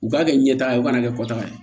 U k'a kɛ ɲɛtaga ye u kana kɛ kɔtaga ye